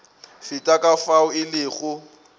feta ka fao e lego